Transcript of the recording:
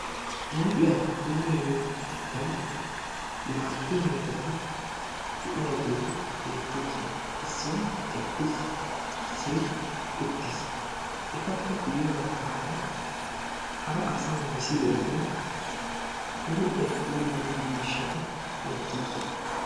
Huuphiya puulayyiyo keettan naa"u yelagati de'iyaageeti beettoosona. Issoy eqqiis, issoy uttiis. Etappe qommo baggaara hara asa misilenne huuphiya puulayyiyo miishshati beettoosona.